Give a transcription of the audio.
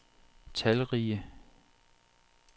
talrige